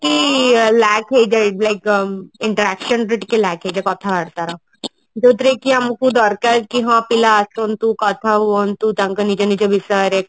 କି lack ହେଇଯାଏ like interaction ରେ ଟିକେ କମ ହେଇଯାଏ କଥା ବାର୍ତା ର ଯୋଉଥିରେ କି ଆମକୁ ଦରକାର କି ହଁ ପିଲା ଆସନ୍ତୁ କଥା ହୁଅନ୍ତୁ କି ତାଙ୍କ ନିଜ ନିଜ ବିଷୟରେ